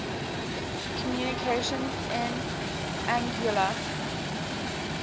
communications in anguilla